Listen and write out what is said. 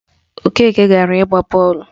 Okeke agara ịgba bọọlụ?